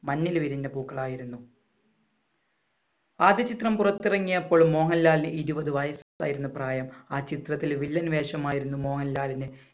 മഞ്ഞിൽ വിരിഞ്ഞ പൂക്കൾ ആയിരുന്നു. ആദ്യചിത്രം പുറത്തിറങ്ങിയപ്പോൾ മോഹൻലാലിന് ഇരുപത് വയസ്സായിരുന്നു പ്രായം. ആ ചിത്രത്തിലെ വില്ലൻ വേഷം ആയിരുന്നു മോഹൻലാലിന്.